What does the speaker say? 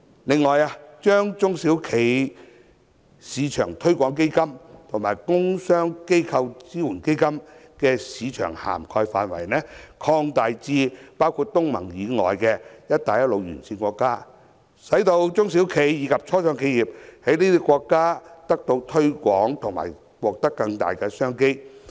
此外，政府應將中小企業市場推廣基金和工商機構支援基金的市場涵蓋範圍擴大至包括東盟以外的"一帶一路"沿線國家，使中小企及初創企業在這些國家得到推廣和獲取更大商機。